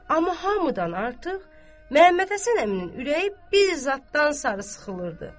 Amma hamıdan artıq Məmməd Həsən əminin ürəyi bir zaddan sarı sıxılırdı.